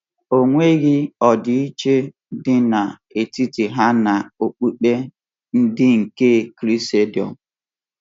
O nweghị ọdịiche dị n’etiti ha na okpukpe ndị nke Krisendọm.